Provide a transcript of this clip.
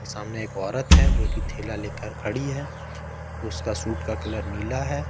सामने एक औरत है जो कि थैला लेकर खड़ी है उसका शूट का कलर नीला है।